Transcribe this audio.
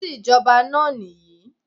This is the express way